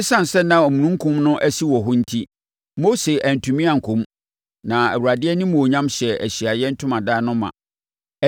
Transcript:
Esiane sɛ na omununkum no asi wɔ hɔ no enti, Mose antumi ankɔ mu na Awurade animuonyam hyɛɛ Ahyiaeɛ Ntomadan no ma.